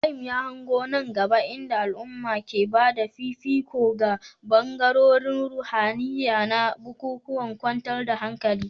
Ibrahim ya hango nan gaba inda al'umma ke ba da fifiko ga bangarorin ruhaniya na bukukuwan kwantar da hankali.